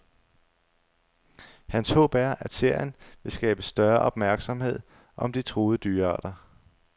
Hans håb er, at serien vil skabe større opmærksomhed om de truede dyrearter.